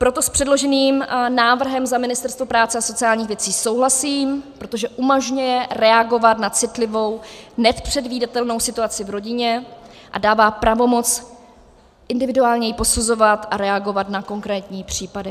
Proto s předloženým návrhem za Ministerstvo práce a sociálních věcí souhlasím, protože umožňuje reagovat na citlivou, nepředvídatelnou situaci v rodině a dává pravomoc individuálně ji posuzovat a reagovat na konkrétní případy.